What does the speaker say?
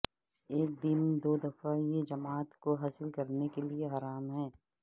ایک دن دو دفعہ یہ جماعت کو حاصل کرنے کے لئے حرام ہے